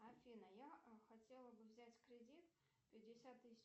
афина я хотела бы взять кредит пятьдесят тысяч